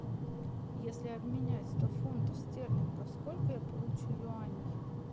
если обменять сто фунтов стерлингов сколько я получу юаней